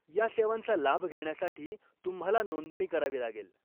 ह्या सेवांचा लाभ घेण्यासाठी तुम्हाला नोंदणी करावी लागेल.